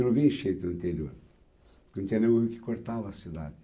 Não tinha enchendo no interior, porque não tinha nenhum rio que cortava a cidade.